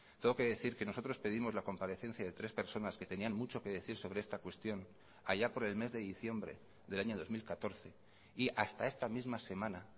tengo que decir que nosotros pedimos la comparecencia de tres personas que tenían mucho que decir sobre esta cuestión allá por el mes de diciembre del año dos mil catorce y hasta esta misma semana